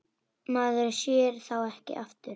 Maður sér þá ekki aftur.